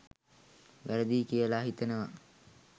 වැරදියි කියල හිතෙනවා